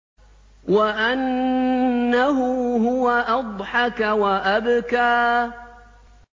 وَأَنَّهُ هُوَ أَضْحَكَ وَأَبْكَىٰ